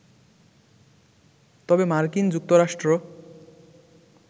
তবে মার্কিন যুক্তরাষ্ট্র